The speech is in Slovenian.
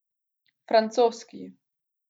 Francoski.